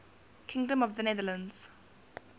kingdom of the netherlands